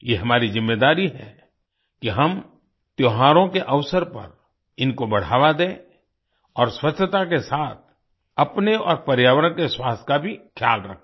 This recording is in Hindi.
ये हमारी ज़िम्मेदारी है कि हम त्योहारों के अवसर पर इनको बढ़ावा दें और स्वच्छता के साथ अपने और पर्यावरण के स्वास्थ्य का भी ख्याल रखें